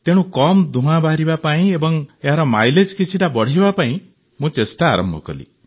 ତେଣୁ କମ୍ ଧୂଆଁ ବାହାରିବା ପାଇଁ ଏବଂ ଏହାର ମାଇଲେଜ୍ କିଛିଟା ବଢ଼ାଇବା ପାଇଁ ମୁଁ ଚେଷ୍ଟା ଆରମ୍ଭ କଲି